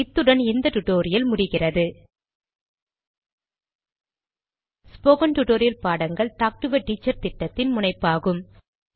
இத்துடன் இந்த டுடோரியல் முடிவுக்கிறது ஸ்போகன் டுடோரியல் பாடங்கள் டாக்டு எ டீச்சர் திட்டத்தின் முனைப்பாகும்